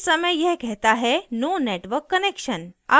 इस समय यह कहता है no network connection